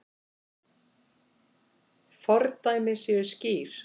Fordæmi séu skýr.